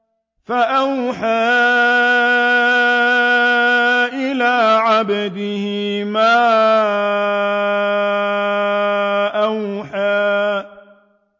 فَأَوْحَىٰ إِلَىٰ عَبْدِهِ مَا أَوْحَىٰ